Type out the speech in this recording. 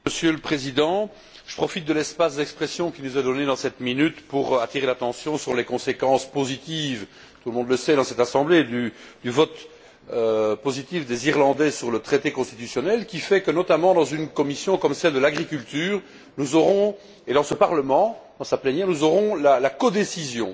Monsieur le Président, je profite de l'espace d'expression qui nous est donné dans cette minute pour attirer l'attention sur les conséquences positives tout le monde le sait dans cette assemblée du vote positif des Irlandais sur le traité constitutionnel, qui fait que, notamment dans une commission comme celle de l'agriculture, ainsi que dans ce Parlement, dans sa plénière, nous aurons la codécision.